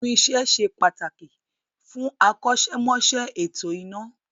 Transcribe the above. Irin-iṣẹ se pàtàkì fún akọ́ṣẹ́mọṣẹ́ ètò iná